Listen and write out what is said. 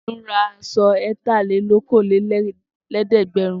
Tolú ra aṣọ ẹ̀tàlélókòólẹ́ẹ̀dẹ́gbẹ̀rún.